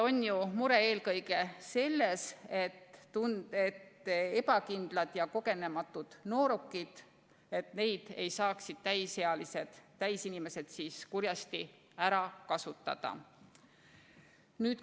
On ju mure eelkõige selles, et ebakindlaid ja kogenematuid noorukeid ei saaks täisealised kurjasti ära kasutada.